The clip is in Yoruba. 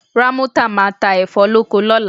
Rámọ́tà máa ta ẹ̀fọ́ lóko lọ́la